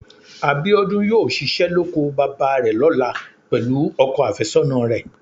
Abíọ́dún yóò ṣiṣẹ́ lóko bàbá rẹ̀ lọ́la pẹ̀lú ọkọ àfẹ́sọ́nà rẹ̀